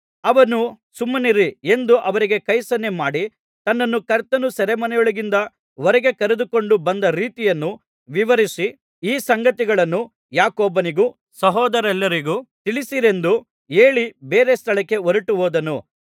ಅವನು ಸುಮ್ಮನಿರಿ ಎಂದು ಅವರಿಗೆ ಕೈಸನ್ನೆ ಮಾಡಿ ತನ್ನನ್ನು ಕರ್ತನು ಸೆರೆಮನೆಯೊಳಗಿಂದ ಹೊರಗೆ ಕರೆದುಕೊಂಡು ಬಂದ ರೀತಿಯನ್ನು ವಿವರಿಸಿ ಈ ಸಂಗತಿಗಳನ್ನು ಯಾಕೋಬನಿಗೂ ಸಹೋದರರೆಲ್ಲರಿಗೂ ತಿಳಿಸಿರೆಂದು ಹೇಳಿ ಬೇರೆ ಸ್ಥಳಕ್ಕೆ ಹೊರಟುಹೋದನು